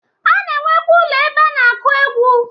A na-enwekwa ụlọ ebe a na-akụ egwu.